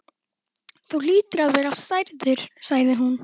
Þú hlýtur að vera særður sagði hún.